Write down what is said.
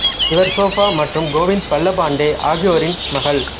இவர் ஷோபா மற்றும் கோவிந்த் பல்லப் பாண்டே ஆகியோரின் மகள்